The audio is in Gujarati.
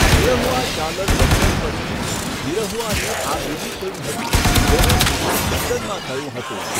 નિરહુઆ ચાલલ લંડન પછી નિરહુઆની આ બીજી ફિલ્મ હતી જેનું શૂટિંગ લંડનમાં થયું હતું.